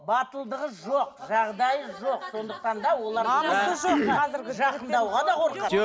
батылдығы жоқ жағдайы жоқ сондықтан да олар намысы жоқ жақындауға да қорқасың